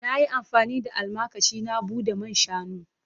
Na yi amfani da almakashi na bude man shanu.